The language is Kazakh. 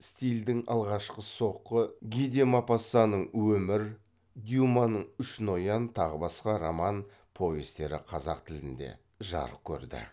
стильдің алғашқы соққы ги де мопассанның өмір дюманың үш ноян тағы басқа роман повестері қазақ тілінде жарық көрді